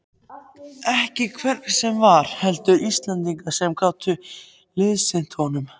Ekki hvern sem var, heldur Íslendinga sem gætu liðsinnt honum.